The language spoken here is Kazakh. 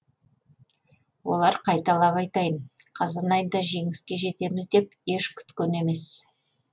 олар қайталап айтайын қазан айында жеңіске жетеміз деп еш күткен емес